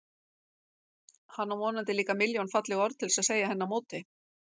Hann á vonandi líka milljón falleg orð til að segja henni á móti.